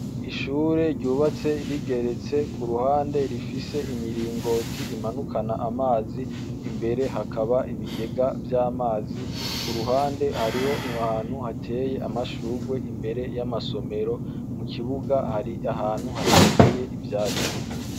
Ishure ryubatse rigeretse ku ruhande rifise imiringoti imanukana amazi imbere hakaba ibigega vy'amazi ku ruhande hariho impantu hateye amashurwe imbere y'amasomero mu kibuga hari ahantu hatateye ivyazi.